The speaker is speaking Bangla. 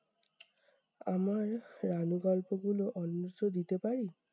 আমার রানু গল্পগুলো অন্যত্র দিতে পারি?